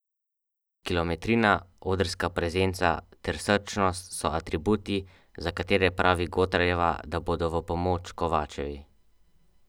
Kilometrina, odrska prezenca ter srčnost so atributi, za katere pravi Gotarjeva, da bodo v pomoč Kovačevi.